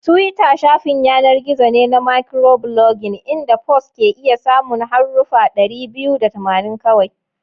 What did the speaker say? Twitter shafin yanar gizo ne na microblogging inda posts ke iya samun haruffa dari biyu da tamanin kawai.